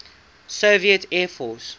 soviet air force